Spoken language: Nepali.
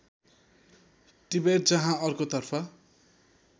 टिबेट जहाँ अर्को तर्फ